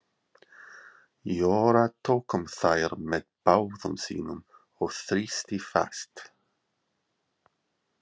Jóra tók um þær með báðum sínum og þrýsti fast.